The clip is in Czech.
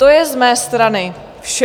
To je z mé strany vše.